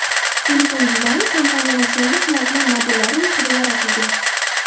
Telefon dizayni kompaniyaning so‘nggi flagman modellari ruhida yaratilgan.